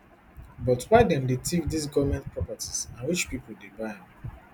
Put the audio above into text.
but why dem dey tiff dis goment properties and which pipo dey buy am